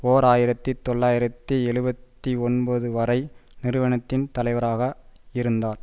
ஓர் ஆயிரத்தி தொள்ளாயிரத்தி எழுபத்தி ஒன்பது வரை நிறுவனத்தின் தலைவராக இருந்தார்